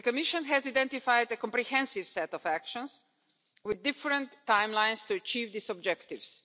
The Commission has identified a comprehensive set of actions with different timelines to achieve these objectives.